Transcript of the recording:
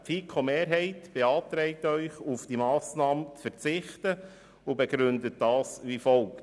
Die FiKoMehrheit beantragt Ihnen, auf die Massnahme zu verzichten, und begründet dies wie folgt: